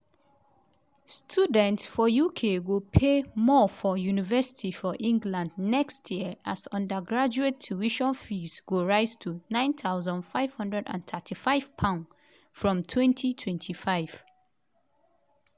students for uk go pay more for university for england next year as undergraduate tuition fees go rise to £9535 from 2025.